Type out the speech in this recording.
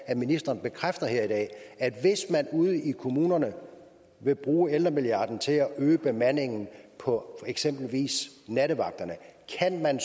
at ministeren bekræfter her i dag at hvis man ude i kommunerne vil bruge ældremilliarden til at øge bemandingen på eksempelvis nattevagter så kan man